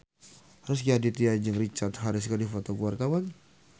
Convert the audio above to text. Rezky Aditya jeung Richard Harris keur dipoto ku wartawan